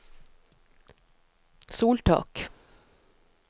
soltak